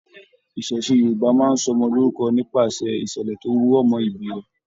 Iṣẹṣe Yorùbá máa n sọ ọmọ lorúkọ nipasẹ ìṣẹlẹ tó rọ mọ ibí rẹ.